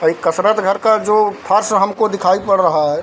और इ जो कसरत घर का जो फर्श हमको दिखाई पड़ रहा है।